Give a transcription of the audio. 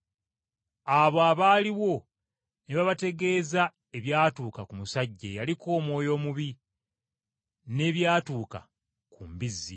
Abo abaaliwo ne babategeeza ebyatuuka ku musajja eyaliko ddayimooni n’ebyatuuka ku mbizzi.